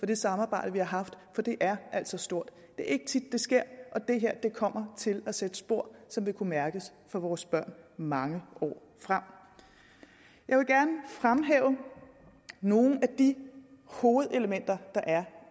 det samarbejde vi har haft for det er altså stort det er ikke tit det sker og det her kommer til at sætte sig spor som vil kunne mærkes af vores børn mange år frem jeg vil gerne fremhæve nogle af de hovedelementer der er